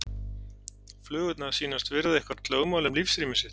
Flugurnar sýnast virða eitthvert lögmál um lífsrými sitt.